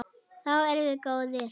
Þá erum við góðir.